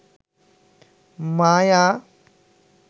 মায়া